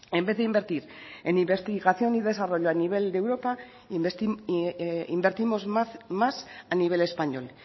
en vez de invertir en investigación y desarrollo a nivel de europa invertimos más a nivel español